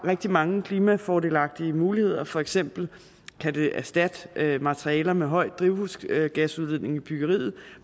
rigtig mange klimafordelagtige muligheder for eksempel kan det erstatte materialer med høj drivhusgasudledning i byggeriet